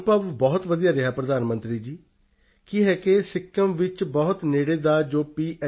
ਅਨੁਭਵ ਬਹੁਤ ਵਧੀਆ ਰਿਹਾ ਪ੍ਰਧਾਨ ਮੰਤਰੀ ਜੀ ਕੀ ਹੈ ਕਿ ਸਿੱਕਿਮ ਵਿੱਚ ਬਹੁਤ ਨੇੜੇ ਦਾ ਜੋ ਪੀ